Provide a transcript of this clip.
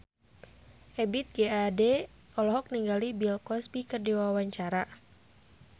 Ebith G. Ade olohok ningali Bill Cosby keur diwawancara